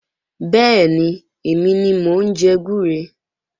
Bẹ́ẹ̀ni, èmi ni mò ń jẹ gbúre